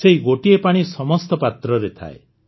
ସେହି ଗୋଟିଏ ପାଣି ସମସ୍ତ ପାତ୍ରରେ ଥାଏ